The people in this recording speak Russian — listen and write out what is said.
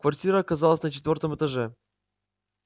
квартира оказалась на четвёртом этаже